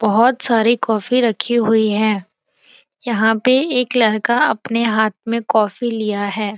बहुत सारी कॉफ़ी रखी हुई हैं यहाँ पे एक लड़का अपने हाथ में कॉफ़ी लिया है।